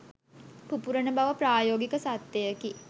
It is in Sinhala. පුපුරණ බව ප්‍රායෝගික සත්‍යයකි.